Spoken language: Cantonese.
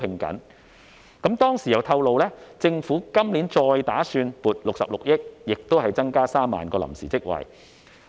當時局方亦透露，政府今年再打算撥出66億元，同樣增加3萬個臨時職位。